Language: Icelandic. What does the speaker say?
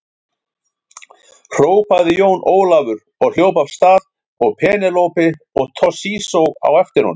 Hrópaði Jón Ólafur og hljóp af stað og Penélope og Toshizo á eftir honum.